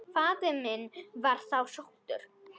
Faðir minn var þá sóttur.